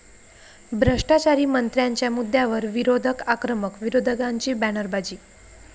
भ्रष्टाचारी मंत्र्यांच्या मुद्यावर विरोधक आक्रमक, विरोधकांची बॅनरबाजी